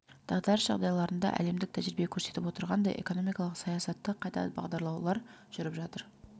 дағдарыс жағдайларында әлемдік тәжірибе көрсетіп отырғанындай экономикалық саясатты қайта бағдарлаулар жүріп жатыр